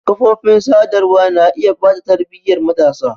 Kafofin sadarwa na iya ɓata tarbiyyar matasa.